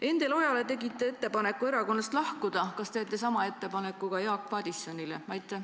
Endel Ojale tegite ettepaneku erakonnast lahkuda, kas teete sama ettepaneku ka Jaak Madisonile?